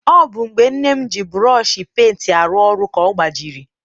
Ọ bụ mgbe nne m ji burọshi penti arụ ọrụ ka ọ gbajiri.